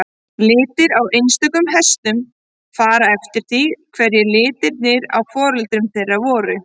Litir á einstökum hestum fara eftir því hverjir litirnir á foreldrum þeirra voru.